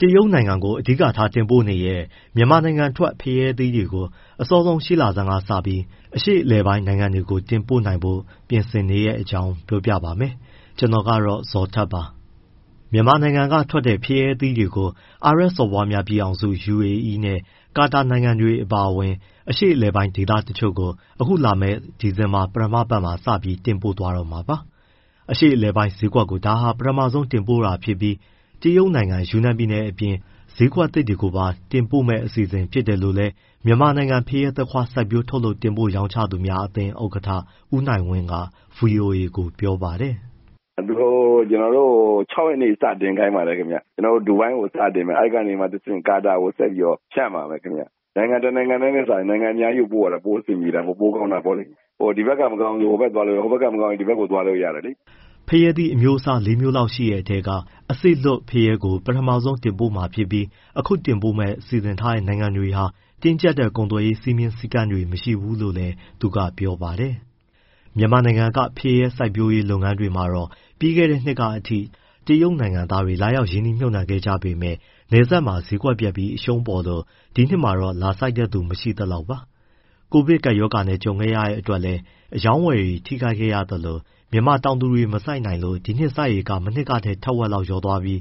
တရုတ်နိုင်ငံကို အဓိကထားတင်ပို့နေတဲ့ မြန်မာနိုင်ငံထွက် ဖရဲသီးတွေကို အစောဆုံးရှေ့လဆန်းကစပြီး အရှေ့အလယ်ပိုင်းနိုင်ငံတွေကို တင်ပို့ဖို့ ပြင်ဆင်နေတဲ့အကြောင်း ပြောပြပေးမှာပါ။ ဗွီအိုအေမြန်မာပိုင်း သတင်းထောက် ကိုဇော်ထက်က သတင်းပေးပို့ထားပါတယ်။ မြန်မာနိုင်ငံကထွက်တဲ့ ဖရဲသီးကို အာရပ်စော်ဘွားများပြည်ထောင်စု UAE နဲ့ ကာတာနိုင်ငံတွေ အပါအဝင် အရှေ့အလယ်ပိုင်းဒေသကို အခုလာမယ့် ဒီဇင်ဘာ ပထမအပတ်မှာ စပြီးတင်ပို့သွားတော့မှာပါ။ အရှေ့အလယ်ပိုင်းဈေးကွက်ကို ဒါ ပထမဦးဆုံး တင်ပို့တာဖြစ်ပြီး တရုတ်နိုင်ငံ ယူနန်ပြည်နယ်အပြင် ဈေးကွက်သစ်တွေကိုပါ တင်ပို့မယ့် အစီအစဉ်ဖြစ်တယ်လို့လည်း မြန်မာနိုင်ငံ ဖရဲ၊ သခွားမွှေး စိုက်ပျိုး၊ ထုတ်လုပ်၊ တင်ပို့၊ ရောင်းချသူများအသင်း ဥက္ကဋ္ဌ ဦးနိုင်ဝင်းက ဗွီအိုအေကို ပြောပါတယ်။ “သူတို့ကျနော်တို့ကို ၆ ရက်နေ့ စတင်ခိုင်းပါတယ် ခင်ဗျ။ ကျနော်တို့ ဒူဘိုင်းကို စတင်မယ် အဲဒီကနေ ကာတာနိုင်ငံကို ဆက်ပြီးတော့ ဖြန့်ပါမယ်ခင်ဗျ။ နိုင်ငံတနိုင်ငံတည်းထက်စာရင် နိုင်ငံအများကြီးကို ပို့ရတာ ပိုအဆင်ပြေတာပေါ့၊ ပိုကောင်းတာပေါ့လေ။ ဒီဘက်က မကောင်းရင် ဟိုဘက် သွားလို့ရတယ်၊ ဟိုဘက်မကောင်းရင် ဒီဘက် သွားလို့ရတယ်လေ။” ဖရဲအမျိုးအစား ၄ မျိုးလောက်ရှိတဲ့အထဲက အစေ့လွတ်ဖရဲကို အရင်ဆုံးတင်ပို့မှာဖြစ်ပြီး၊ အခုတင်ပို့ဖို့ စီစဉ်ထားတဲ့ နိုင်ငံတွေဟာ တင်းကြပ်တဲ့ ကုန်သွယ်ရေး စည်းမျဉ်းစည်းကမ်းတွေ မရှိဘူးလို့လည်း သူကပြောပါတယ်။ မြန်မာနိုင်ငံက ဖရဲစိုက်ပျိုးရေးလုပ်ငန်းတွေမှာတော့ ပြီးခဲ့တဲနှစ်အထိ တရုတ်နိုင်ငံသားတွေ လာရောက်ရင်းနှီးမြှုပ်နှံခဲ့ကြပေမဲ့ နယ်စပ်မှာ ဈေးကွက်ပျက်ပြီး အရှုံးပေါ်လို့ ဒီနှစ်တော့ လာစိုက်သူ မရှိသလောက်ပါ။ ကိုဗစ်ကပ်ရောဂါနဲ့ ကြုံရတဲ့အတွက်လည်း အရောင်းအဝယ်တွေ ထိခိုက်ခဲ့ရသလို၊ မြန်မာတောင်သူတွေ မစိုက်နိုင်လို့ ဒီနှစ် စိုက်ဧကက မနှစ်ကထက် တဝက်လောက် လျော့သွားပြီး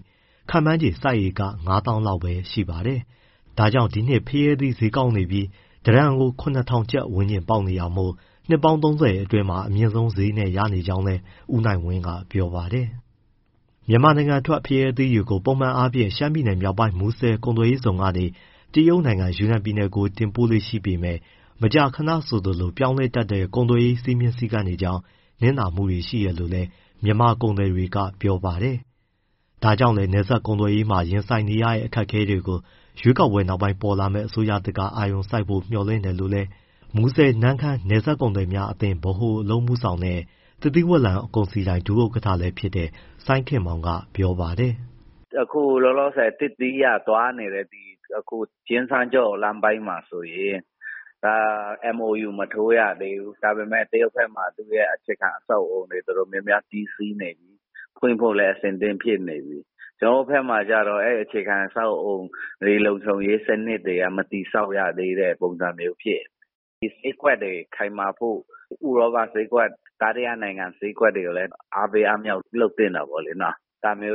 ခန့်မှန်းခြေ စိုက်ဧက ၅၀,၀၀၀ လောက်သာပါတယ်။ ဒါကြောင့် ဒီနှစ်ဖရဲသီးဈေးက ကောင်းနေပြီး တတန်ကို ၇,၀၀၀ ပေါက်နေတာမို့ နှစ်ပေါင်း ၃၀ အတွင်းမှာ အမြင့်ဆုံးဈေးနဲ့ ရနေကြောင်း ဦးနိုင်ဝင်းက ပြောပါတယ်။ မြန်မာနိုင်ငံထွက် ဖရဲသီးတွေကို ပုံမှန်အားဖြင့် ရှမ်းပြည်နယ်မြောက်ပိုင်း မူဆယ်ကုန်သွယ်ရေးဇုန်ကနေ တရုတ်နိုင်ငံ၊ ယူနန်ပြည်နယ်ကို တင်ပို့လေ့ရှိပေမဲ့ မကြာခဏဆိုသလို ပြောင်းလဲတဲ့ ကုန်သွယ်ရေး စည်းကမ်းချက်တွေကြောင့် နစ်နာမှုတွေ ရှိတယ်လို့လည်း မြန်မာကုန်သည်တွေက ပြောပါတယ်။ ဒါကြောင့်လည်း နယ်စပ်ကုန်သွယ်ရေးမှာ ရင်ဆိုင်နေရတဲ့ အခက်အခဲတွေကို ရွေးကောက်ပွဲနောက်ပိုင်း ပေါ်ပေါက်လာမယ့် အစိုးရသစ်က အာရုံစိုက်ဖို့ မျှော်လင့်တယ်လို့လည်း မူဆယ်နမ့်ခမ်း နယ်စပ်ကုန်သည်များအသင်း ဗဟိုအလုပ်အမှုဆောင်နဲ့ သစ်သီးဝလံ ကုန်စည်ဒိုင် ဒုဥက္ကဋ္ဌဖြစ်တဲ့ စိုင်းခင်မောင်က ပြောပါတယ်။ “အခုလောလောဆယ် သစ်သီးကသွားနေတဲ့ ကျင်စန်းကြော့လမ်းပိုင်းမှာဆိုရင် MoU မထိုးရသေးဘူး။ ဒါပေမဲ့ တရုတ်ဘက်မှာ သူ့ရဲ့ အခြေခံအဆောက်အအုံ တော်တော်များများ ပြီးစီးနေပြီ။ ဖွင့်ဖို့လည်း အဆင်သင့်ဖြစ်နေပြီ၊ ကျနော်တို့ဘက်မှာကျတော့ အဲဒီအခြေခံ အဆောက်အအုံတွေ၊ လုံခြုံရေးစနစ်တွေ မတည်ဆောက်ရသေးတဲ့ ပုံစံမျိုးဖြစ်နေတယ်။၊ ဒီဈေးကွက်တွေ ခိုင်မာဖို့ ဥရောပနိုင်ငံဈေးကွက်၊ တတိယနိုင်ငံဈေးကွက်တွေလည်း အားပေးအားမြှောက် လုပ်သင့်တာပေါ့လေနော်။ ဒါပေ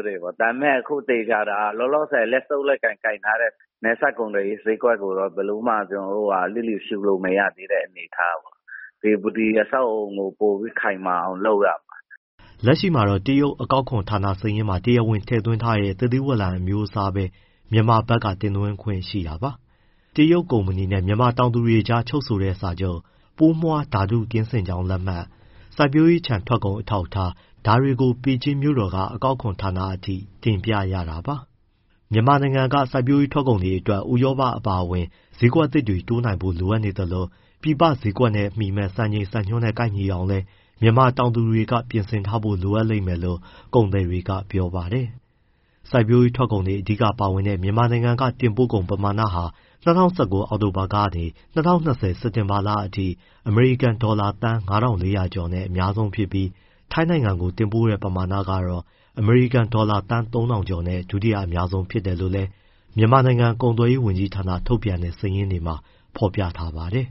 မဲ့ အခုသေချာတာတော့ လောလောဆယ် လက်ဆုပ်လက်ကိုင် ကိုင်ထားတဲ့ နယ်စပ်ကုန်သွယ်ရေး ဈေးကွက်ကိုတော့ ဘယ်လိုမှ လျစ်လျူရှုလို့မရသေးတဲ့ အနေအထားပေါ့။ ဒီအဆောက်အအုံကို ပိုပြီးခိုင်မာအောင် လုပ်ရမယ်။” လက်ရှိမှာတော့ တရုတ် အကောက်ခွန်ဌာနစာရင်းမှာ တရားဝင်ထည့်သွင်းထားတဲ့ သစ်သီးဝလံ အမျိုးအစားပဲ မြန်မာဘက်က တင်သွင်းခွင့်ရှိပါတယ်။ တရုတ်ကုမ္ပဏီနဲ့ မြန်မာတောင်သူတွေကြား ချုပ်ဆိုတဲ့စာချုပ်၊ ပိုးမွှားဓာတု ကင်းစင်ကြောင်းလက်မှတ်၊ စိုက်ပျိုးခြံထွက်ကုန် အထောက်အထားတွေကိုလည်း ပေကျင်းမြို့တော်က အကောက်ခွန်ဌာနအထိ တင်ပြရတာပါ။ မြန်မာနိုင်ငံက စိုက်ပျိုးထွက်ကုန်တွေအတွက် ဥရောပအပါအဝင် ဈေးကွက်သစ်တွေကို တိုးနိုင်ဖို့ လိုအပ်နေသလို၊ ပြည်ပဈေးကွက်နဲ့မီမယ့် စံချိန်စံညွှန်းနဲ့ ကိုက်ညီအောင်လည်း မြန်မာတောင်သူတွေက ပြင်ဆင်ထားဖို့ လိုအပ်လိမ့်မယ်လို့ ကုန်သည်တွေက ပြောပါတယ်။ စိုက်ပျိုးရေး ထွက်ကုန်တွေ အဓိကပါဝင်တဲ့ မြန်မာနိုင်ငံက တင်ပို့ကုန် ပမာဏဟာ ၂၀၁၉ အောက်တိုဘာကနေ ၂၀၂၀ စက်တင်ဘာလအထိ အမေရိကန်ဒေါ်လာ သန်း ၅,၄၀၀ ကျော်နဲ့ အများဆုံးဖြစ်ပြီး ထိုင်းနိုင်ငံကို တင်ပို့တဲ့ ပမာဏကတော့ အမေရိကန်ဒေါ်လာ သန်း ၃,၀၀၀ ကျော်နဲ့ ဒုတိယ အများဆုံး ဖြစ်တယ်လို့လည်း မြန်မာနိုင်ငံ ကုန်သွယ်ရေးဝန်ကြီးဌာနက ထုတ်ပြန်ထားတဲ့ စာရင်းတွေမှာ ဖော်ပြထားပါတယ်။